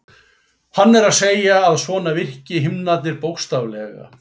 Hann er að segja að svona virki himnarnir bókstaflega.